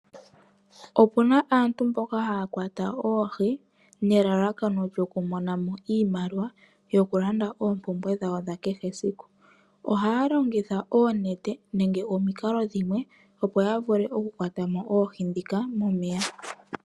Opu na aantu mboka haa kwata oohi nealakano lyoku mona mo iimaliwa yoku landa oompumbwe dhawo dha kehe esiku. Ohaa longitha oonane nenge omikalo dhimwe, opo ya vule oku kwata mo oohi ndhika momeya.